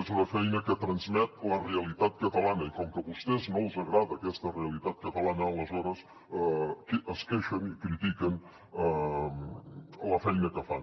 és una feina que transmet la realitat catalana i com que a vostès no els agrada aquesta realitat catalana aleshores es queixen i critiquen la feina que fan